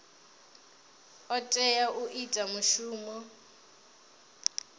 o tea u ita mushumo